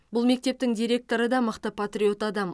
бұл мектептің директоры да мықты патриот адам